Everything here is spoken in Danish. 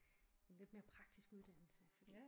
En lidt mere praktisk uddannelse fordi